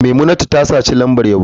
Maimunatu ta saci lambar yabo.